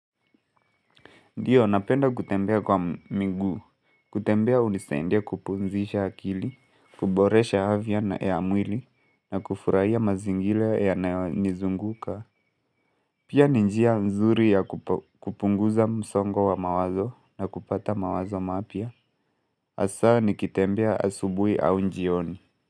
Ndio napenda kutembea kwa miguu, kutembea hunisaidia kupumzisha akili, kuboresha afya na ya mwili, na kufurahia mazingira yanayonizunguka. Pia ni njia nzuri ya kupunguza msongo wa mawazo na kupata mawazo mapya. Hasa nikitembea asubui au jioni.